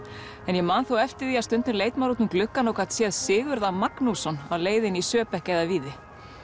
ég man þó eftir því að stundum leit maður út um gluggann og gat séð Sigurð a Magnússon á leiðinni í Söebeck eða Víði